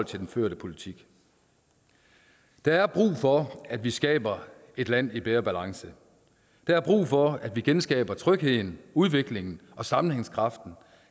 til den førte politik der er brug for at vi skaber et land i bedre balance der er brug for at vi genskaber trygheden udviklingen og sammenhængskraften